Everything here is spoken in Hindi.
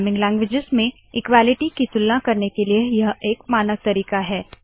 प्रोग्रामिंग लान्गुवेजस में इक्वालिटी की तुलना करने के लिए यह एक मानक तरीका है